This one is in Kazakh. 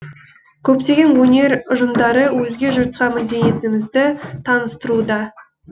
көптеген өнер ұжымдары өзге жұртқа мәдениетімізді таныстыруда